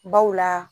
Baw la